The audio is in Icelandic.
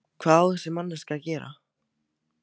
Hvað á þessi manneskja að gera?